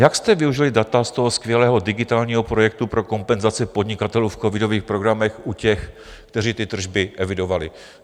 Jak jste využili data z toho skvělého digitálního projektu pro kompenzaci podnikatelů v covidových programech u těch, kteří ty tržby evidovali?